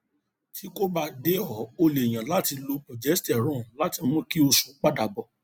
tí kò bá dé o lè yan láti lo progesterone láti mú kí oṣù padà bọ